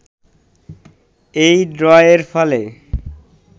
এই ড্রয়ের ফলে